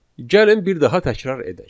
Gəlin bir daha təkrar edək.